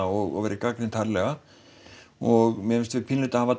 og verið gagnrýnt harðlega og mér finnst við pínu hafa